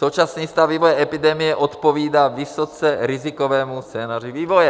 Současný stav vývoje epidemie odpovídá vysoce rizikovému scénáři vývoje.